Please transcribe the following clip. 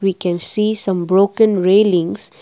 we can see some broken railings.